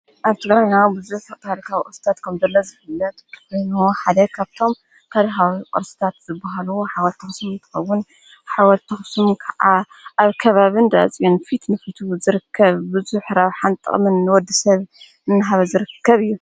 ኣብቲ ገራ ኢናሆ ብዘት ታሪካዊ ቕስታት ከምንዘለ ዝፍለት ትኑ ሓደ ኸብቶም ካድሃዊ ቕርስታት ዝብሃሉ ሓወርታኽስም ተበዉን ሓወርቶኹስሙ ከዓ ኣብ ከባብን ዳኣፂኦን ፊት ንፊቱ ዝርከብ ብዙኅ ኅራብ ሓንጠምን ወዲ ሰብ እንሃብ ዝርከብ እዩ።